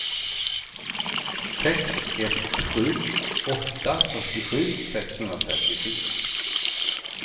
sex ett sju åtta fyrtiosju sexhundratrettiofyra